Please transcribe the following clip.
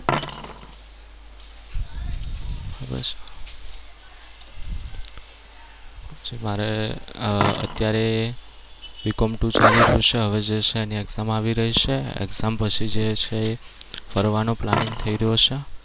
મારે અમ અત્યારે BCOMtwo ચાલી રહ્યું છે. હવે જે છે એની exam આવી રહી છે. exam પછી જે છે ફરવાનો planning થઈ રહ્યો છે.